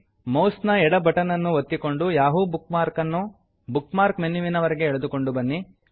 mouse ನ ಎಡ button ನನ್ನು ಒತ್ತಿಕೊಂಡು ಯಾಹೂ ಬುಕ್ ಮಾರ್ಕನ್ನು ಬುಕ್ ಮಾರ್ಕ್ ಮೆನ್ಯುವಿನ ವರೆಗೆ ಎಳೆದುಕೊಂಡು ಬನ್ನಿ